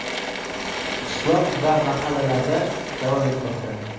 qishloq va mahallalarda davom etmoqda.